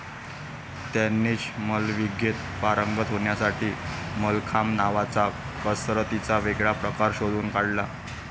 त्यांनीच मल्लविद्येत पारंगत होण्यासाठी मल्लखांब नावाचा कसरतीचा वेगळा प्रकार शोधून काढला.